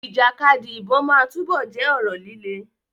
Ìjàkadì ìbọn máa túbọ̀ jẹ́ ọ̀rọ̀ líle.